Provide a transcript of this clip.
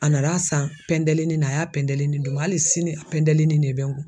A nana san pɛndelinin na a y'a pɛndelinin di n ma hali sini a pɛndelinin de bɛ n kun